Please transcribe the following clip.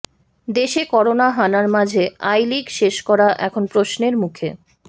দেশে করোনা হানার মাঝে আই লিগ শেষ করা এখন প্রশ্নের মুখে